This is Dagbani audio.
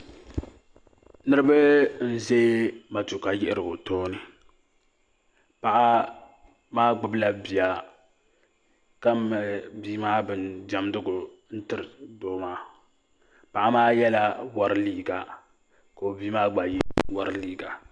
Niriba n ʒɛ matuuka yiɣirigu tooni paɣa maa gbubi la bia ka mali bia maa bin dɛmdigu n tiri doo maa paɣa maa yɛla wari liiga ka o bia maa gba yɛ wari liiga.